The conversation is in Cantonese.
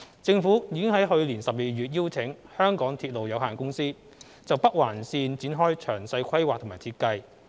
政府已於去年12月邀請香港鐵路有限公司就北環綫展開詳細規劃及設計。